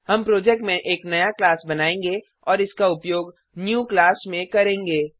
हम प्रोजेक्ट में एक नया क्लास बनायेंगे और इसका उपयोग न्यू क्लास में करेंगे